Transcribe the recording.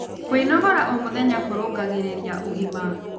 Kwĩnogora o mũthenya kũrũngagĩrĩrĩa ũgima